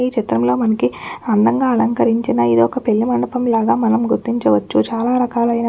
ఈ చిత్రంలో మనకి అందంగా అలంకరించిన ఇదొక్క పెళ్లి మండపంలాగా మనం గుర్తించవచ్చుచాలా రకాలైన పువ్వులు --